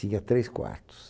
Tinha três quartos.